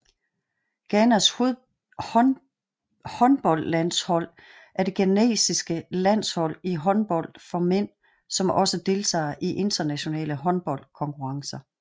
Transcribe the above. Ghanas håndboldlandshold er det ghanesiske landshold i håndbold for mænd som også deltager i internationale håndboldkonkurrencer